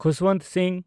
Khushwant Singh